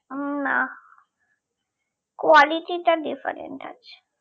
উম না quality টা different আছে